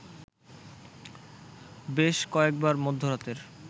বেশ কয়েকবার মধ্যরাতের